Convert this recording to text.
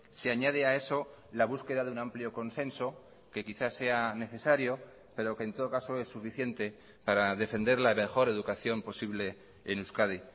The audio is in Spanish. se añade a eso la búsqueda de un amplio consenso que quizás sea necesario pero que en todo caso es suficiente para defender la mejor educación posible en euskadi